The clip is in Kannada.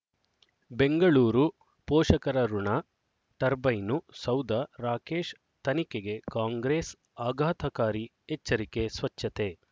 ಬೆಂಗಳೂರು ಪೋಷಕರಋಣ ಟರ್ಬೈನು ಸೌಧ ರಾಕೇಶ್ ತನಿಖೆಗೆ ಕಾಂಗ್ರೆಸ್ ಆಘಾತಕಾರಿ ಎಚ್ಚರಿಕೆ ಸ್ವಚ್ಛತೆ